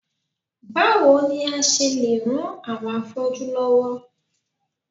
Báwo ni a ṣe lè ran àwọn afọ́jú lọ́wọ́?